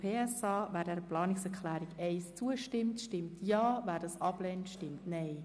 Wer diese Planungserklärung annimmt, stimmt Ja, wer diese ablehnt, stimmt Nein.